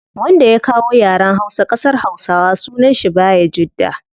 Wanda ya kawo yaren hausa kasar hausawa sunan shi bayajidda